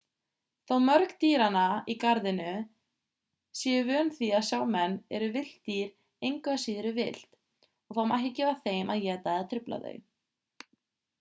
þó mörg dýranna í garðinu séu vön því að sjá menn eru villt dýr engu að síður villt og það má ekki gefa þeim að éta eða trufla þau